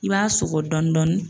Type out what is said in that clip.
I b'a sɔgɔ dɔɔnin dɔnnin.